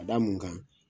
Ka da mun kan